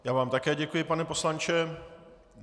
Já vám také děkuji, pane poslanče.